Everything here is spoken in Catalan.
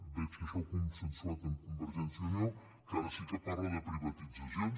veig que això ho ha co nsensuat amb convergència i unió que ara sí que parla de privatitzacions